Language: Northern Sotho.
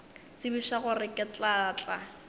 tsebiša gore ke tla tla